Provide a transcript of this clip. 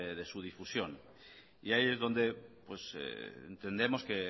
de su difusión y ahí es donde pues entendemos que